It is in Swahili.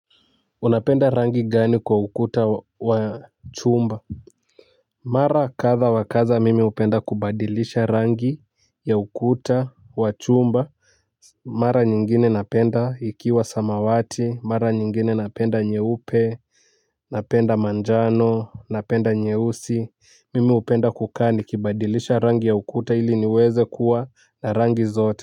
Unapenda rangi gani kwa ukuta wa chumba. Mara kadha wa kadha mimi hupenda kubadilisha rangi ya ukuta wa chumba. Mara nyingine napenda ikiwa samawati mara nyingine napenda nyeupe. Napenda manjano napenda nyeusi Mimi hupenda kukaa nikibadilisha rangi ya ukuta ili niweze kuwa na rangi zote.